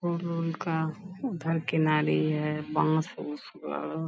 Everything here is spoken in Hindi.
और गोलका उधर किनारे है बांस-उस बा।